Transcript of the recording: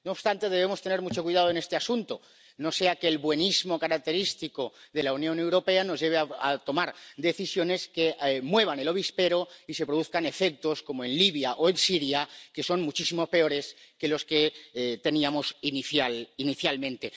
No obstante, debemos tener mucho cuidado en este asunto, no sea que el buenismo característico de la Unión Europea nos lleve a tomar decisiones que muevan el avispero y se produzcan efectos como en Libia o en Siria que son muchísimo peores que los que teníamos inicialmente.